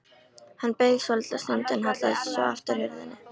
Hann beið svolitla stund en hallaði svo aftur hurðinni.